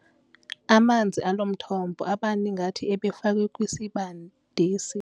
Amanzi alo mthombo abanda ngathi ebefakwe kwisibandisi.